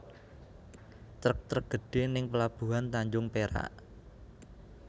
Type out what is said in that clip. Trek trek gedhe ning pelabuhan Tanjung Perak